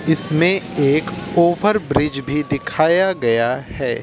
इसमें एक ओवरब्रिज भी दिखाया गया है।